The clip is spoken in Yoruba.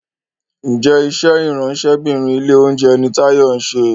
Njé iṣé Ìráńṣẹ́bìnrin ilé-oúnjẹ ní Tayo nṣe?